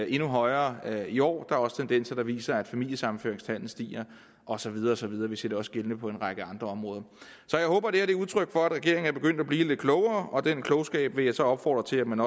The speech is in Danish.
endnu højere i år der er også tendenser der viser at familiesammenføringstallet stiger og så videre og så videre vi ser det også gældende på en række andre områder så jeg håber det er udtryk for at regeringen er begyndt at blive lidt klogere og den klogskab vil jeg så opfordre til at man